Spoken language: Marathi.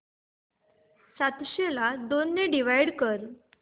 सातशे ला दोन ने डिवाइड कर